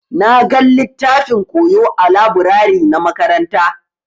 Na gan littafin koyo ã laburare na makaranta.